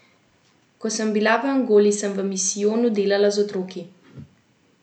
Ko sem bila v Angoli, sem v misijonu delala z otroki.